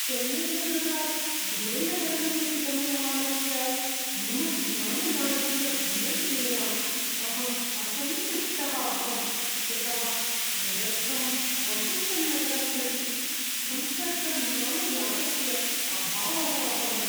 चेन्नैनगरात् दुबैनगरं प्रति गम्यमानस्य मम विमानयानस्य विलम्बेन अहं असन्तुष्टः अभवं यतः मदर्थं वाशिङ्ग्टन्नगरं प्रति सम्पर्कविमानयानस्य अभावः अभवत्।